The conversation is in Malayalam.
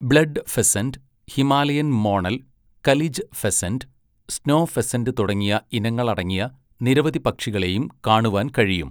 Blood pheasant, Himalayan monal, kalij pheasant, snow pheasant തുടങ്ങിയ ഇനങ്ങളടങ്ങിയ നിരവധി പക്ഷികളെയും കാണുവാൻ കഴിയും.